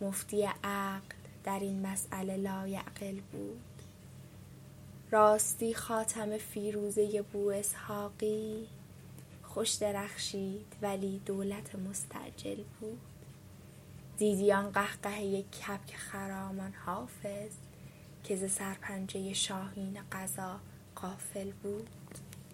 مفتی عقل در این مسأله لایعقل بود راستی خاتم فیروزه بواسحاقی خوش درخشید ولی دولت مستعجل بود دیدی آن قهقهه کبک خرامان حافظ که ز سرپنجه شاهین قضا غافل بود